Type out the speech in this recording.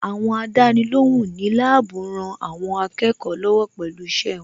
Àwọn Àdánilóhùn ní láàbù rán àwọn akẹ́kọ̀ọ́ lọ́wọ́ pẹ̀lú iṣẹ́ wọn